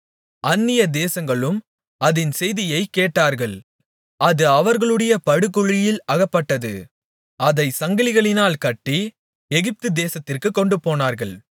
அந்நியதேசங்களும் அதின் செய்தியைக் கேட்டார்கள் அது அவர்களுடைய படுகுழியில் அகப்பட்டது அதைச் சங்கிலிகளினால் கட்டி எகிப்துதேசத்திற்குக் கொண்டுபோனார்கள்